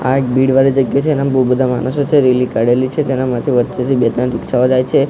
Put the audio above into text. આ એક ભીડ વાળી જગ્યા છે એનામાં બહુ બધા માણસો છે રેલી કાઢેલી છે તેના માંથી વચ્ચેથી બે ત્રણ રીક્ષા ઓ જાય છે.